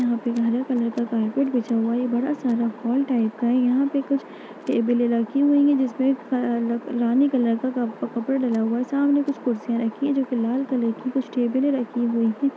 यहाँ पे एक हरे कलर का कार्पेट बिछा हुआ है ये बड़ा सारा हॉल टाइप का है यहाँ पे कुछ टेबलें रखी हुई हैं जिसपे क अ रानी कलर का कप कपड़ा डाला हुआ है सामने कुछ कुर्सियाँ रखी हैं जो कि लाल कलर की कुछ टेबलें रखी हुई हैं।